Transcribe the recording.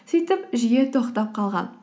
сөйтіп жүйе тоқтап қалған